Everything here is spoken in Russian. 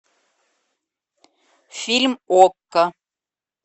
фильм окко